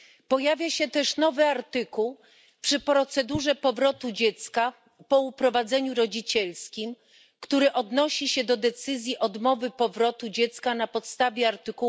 Pojawia się też nowy artykuł w procedurze powrotu dziecka po uprowadzeniu rodzicielskim, który odnosi się do decyzji odmowy powrotu dziecka na podstawie art.